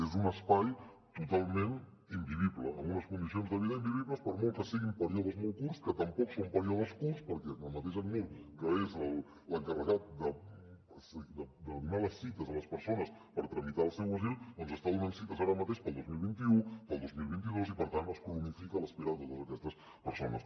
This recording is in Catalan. és un espai totalment invivible amb unes condicions de vida invivibles per molt que siguin períodes molt curts que tampoc són períodes curts perquè el mateix acnur que és l’encarregat de donar les cites a les persones per tramitar el seu asil doncs està donant cites ara mateix per al dos mil vint u per al dos mil vint dos i per tant es cronifica l’espera de totes aquestes persones